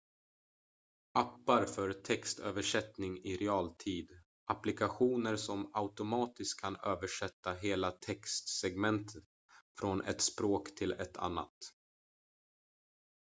appar för textöversättning i realtid applikationer som automatiskt kan översätta hela textsegment från ett språk till ett annat